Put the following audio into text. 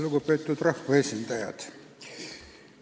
Lugupeetud rahvaesindajad!